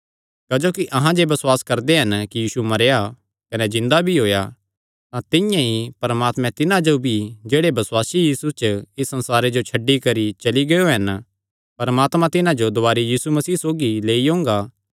क्जोकि अहां जे बसुआस करदे हन कि यीशु मरेया कने जिन्दा भी होएया तां तिंआं ई परमात्मे तिन्हां जो भी जेह्ड़े बसुआसी यीशु च इस संसारे जो छड्डी करी चली गियो हन परमात्मा तिन्हां जो दुवारी यीशु मसीह सौगी लेई ओंगा